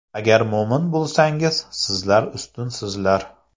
Agar mo‘min bo‘lsalaringiz, sizlar ustunsizlar”.